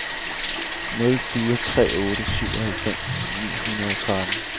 nul fire tre otte syvoghalvfems ni hundrede og tretten